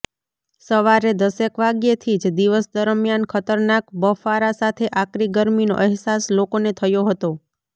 સવારે દશેક વાગ્યેથી જ દિવસ દરમિયાન ખતરનાક બફારા સાથે આકરી ગરમીનો અહેસાસ લોકોને થયો હતો